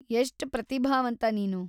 ಎಷ್ಟ್ ಪ್ರತಿಭಾವಂತ ನೀನು.